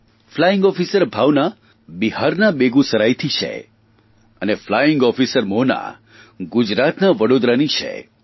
flying officer Bhavana બિહારના બેગુસરામથી છે અને ફ્લાઇંગ ઓફિસર મોહના ગુજરાતના વડોદરાની છે